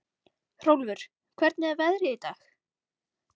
Hrólfur, hvernig er veðrið í dag?